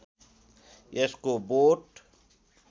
यसको बोट